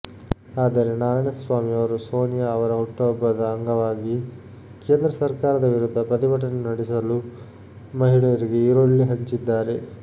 ಆದರೆ ನಾರಾಯಣಸ್ವಾಮಿಯವರು ಸೋನಿಯಾ ಅವರ ಹುಟ್ಟುಹಬ್ಬದ ಅಂಗವಾಗಿ ಕೇಂದ್ರ ಸರ್ಕಾರದ ವಿರುದ್ಧ ಪ್ರತಿಭಟನೆ ನಡೆಸಲು ಮಹಿಳೆಯರಿಗೆ ಈರುಳ್ಳಿ ಹಂಚಿದ್ದಾರೆ